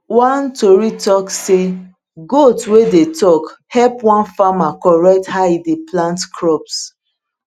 one tori talk say goat wey dey talk help one farmer correct how e dey plant crops